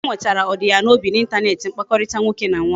Ike nwetara ọdi ya n'obi na intaneti mkpakọrịta nwoke na nwaanyị